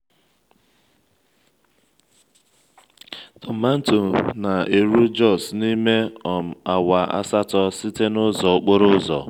tomanto na-eru jos n'ime um awa asatọ site n'ụzọ okporo ụzọ.